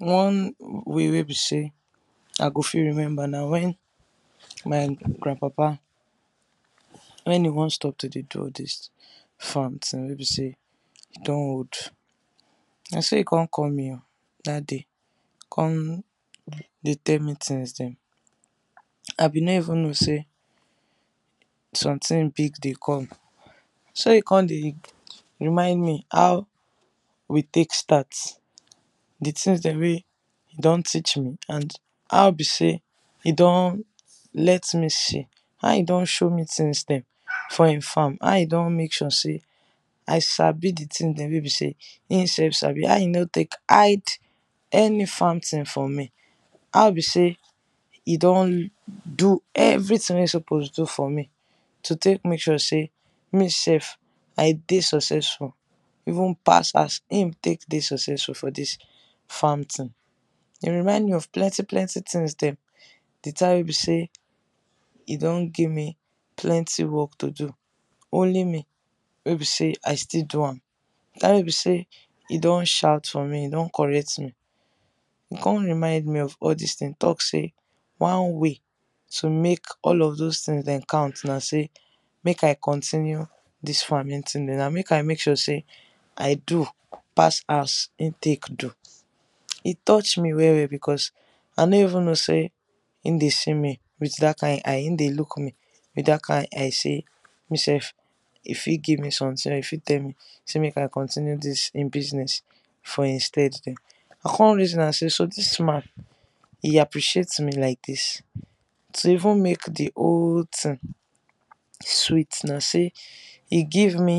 One way wey be say I go fit remember na when my granpapa when e want stop to de do all this farm thing wey be say e don old na so e come call me o that day, com de tell me things dem I been no even know say something big de come, so e come de remind me how we take start, d things dem wey be say e don teach me and how be say e don let me see how e don show me things them for he farm how e don make sure say I sabi d tin de we be say him sef sabi how e no take hide any farm tin from me, how be say e don do everything wey he suppose do for me to take make sure say me sef I de successful even pass as he take de successful for this farm tin, e remind me of plenti plenti tins dem, d time wey be say e don gimme plenty work to do only me wey be say I still do am time wey be say e don shout for me, e don correct me, e come remind me of all this tin talk say one way to make all those tin dem count na say make I counting dis farming tin make I make sure say I do pass as e take do. E touch me well well because I no even know say e de see me with that kind eye e de look me with dat kind eye say me sef e fit give me something or he fit tell me say make continue dis he business for he stead dem. I con reason say so dis man, he appreciate me like this? to even make d whole tin sweet na say he give me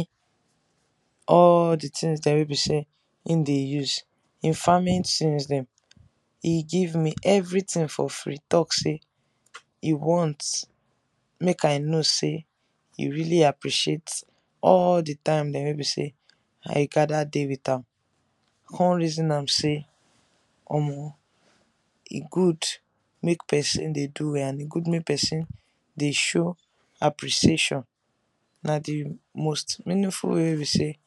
all d tins dem wey be say he de use he farming tins dem he give everything for free talk say he want make I know say he really appreciate all d times dem wey be say i gather de with am, I come reason am say Omo e good make person de do well and e good make person de show appreciation na d most meaningful way wey be say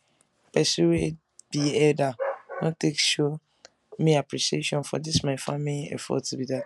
person wey be elder wan take show me appreciation for dis my Farming effort be dat.